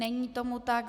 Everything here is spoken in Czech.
Není tomu tak.